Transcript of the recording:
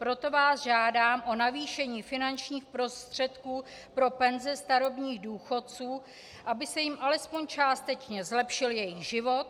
Proto vás žádám o navýšení finančních prostředků pro penzi starobních důchodců, aby se jim alespoň částečně zlepšil jejich život.